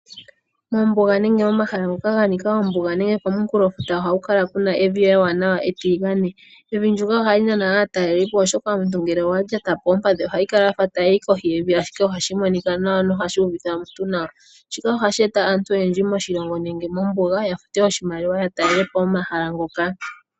Mombuga nenge momahala ngoka ga nika ombuga nenge komunkulofuta ohaku kala kuna emvi ewanawa etiligane. Emvi ndyoka ohali nana aatalelipo, oshoka omuntu ngele owa lyata po oompadhi ohayi kala yafa tayi yi koshi yevi, ashike ohashi monika nawa noha shi uvitha omuntu nawa. Shika ohashi eta aantu oyendji moshilongo nenge mombuga ya fute oshimaliwa ya talele po omahala ngoka.